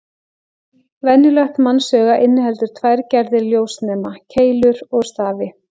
Venjulegt mannsauga inniheldur tvær gerðir ljósnema: Keilur og stafi.